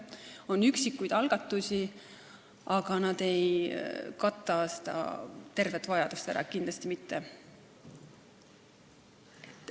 On üksikuid algatusi, aga need ei kata tervet vajadust ära, kindlasti mitte.